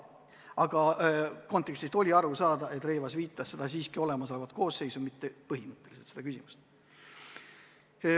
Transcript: Aga kontekstist oli aru saada, et Rõivas mõtles siiski olemasolevat koosseisu, mitte põhimõtteliselt seda küsimust.